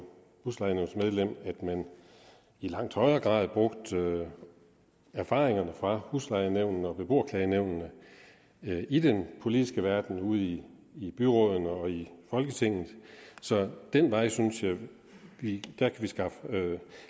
huslejenævnsmedlem at man i langt højere grad brugte erfaringerne fra huslejenævnene og beboerklagenævnene i den politiske verden ude i i byrådene og i folketinget så ad den vej synes jeg vi kan skaffe